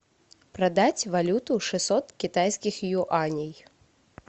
продать валюту шестьсот китайских юаней